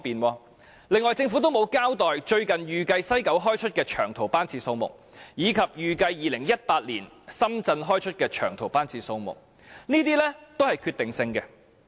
此外，政府亦沒有交代最新預計由西九開出的長途班次數目，以及預計2018年由深圳開出的長途班次數目，這些都是具決定性的。